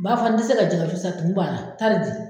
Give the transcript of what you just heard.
Bafa n tɛ se ka jɛkɛwusu san, tumu b'a la taa nin bon.